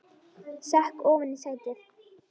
Sekk ofan í sætið.